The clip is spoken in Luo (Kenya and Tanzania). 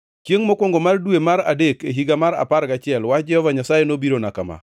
Chiengʼ mokwongo mar dwe mar adek, e higa mar apar gachiel wach Jehova Nyasaye nobirona kama: